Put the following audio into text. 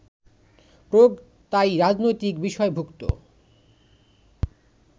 প্রয়োগ তাই রাজনৈতিক বিষয়ভুক্ত